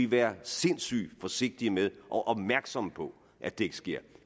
være sindssygt forsigtige med og opmærksomme på at det ikke sker